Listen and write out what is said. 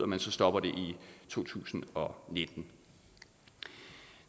man stopper det i to tusind og nitten